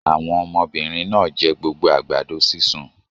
Àwọn ọmọbìnrin náà jẹ gbogbo àgbàdo sísun?